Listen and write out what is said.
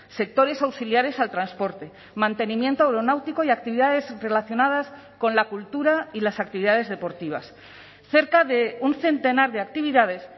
sectores auxiliares al transporte mantenimiento aeronáutico y actividades relacionadas con la cultura y las actividades deportivas cerca de un centenar de actividades